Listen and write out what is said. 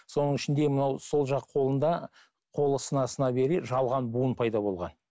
соның ішінде мынау сол жақ қолында қолы сына сына бере жалған буын пайда болған